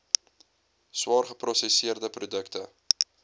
swaar geprosesseerde produkte